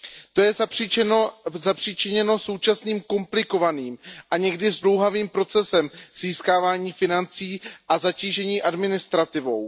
To je zapříčiněno současným komplikovaným a někdy zdlouhavým procesem získávání financí a zatížením administrativou.